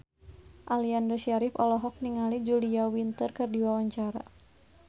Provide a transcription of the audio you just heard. Aliando Syarif olohok ningali Julia Winter keur diwawancara